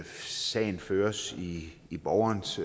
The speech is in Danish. sagen føres i i borgerens